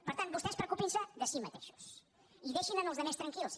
per tant vostès preocupin se de si mateixos i deixin els altres tranquils